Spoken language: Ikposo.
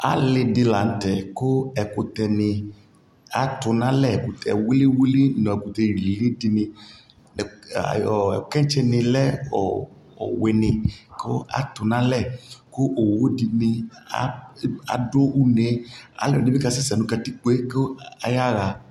Alι dι la ntɛ ku ɛkutɛ ni atu nalɛƐkutɛ wiliwili nu ɛkutɛ lili dι niKɛntsi ni lɛ ɔwiniKu atu na lɛKu owu dι ni adu uneƐdι bi ka sɛsɛ nu une kaya ɣa